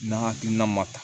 N'a hakilina ma ta